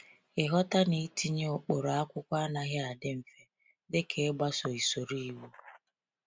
Ịghọta na itinye ụkpụrụ akwụkwọ anaghị adị mfe dị ka ịgbaso usoro iwu.